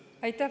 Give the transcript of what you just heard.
Aitäh!